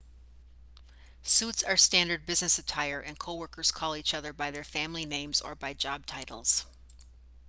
suits are standard business attire and coworkers call each other by their family names or by job titles